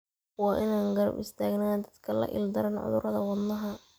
Waa in aan garab istaagnaa dadka la ildaran cudurrada wadnaha.